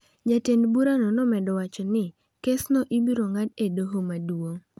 Jatend burano nomedo wacho ni kesno ibiro ng’ad e doho maduong’.